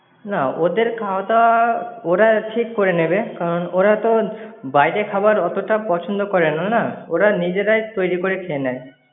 না, ওদের খাওয়া দাওয়া ওরা ঠিক করে নেবে, কারণ ওরা তো বাইরের খাবার অতোটা পছন্দ করে না না। ওরা নিজেরাই তৈরি করে খেয়ে নেয়।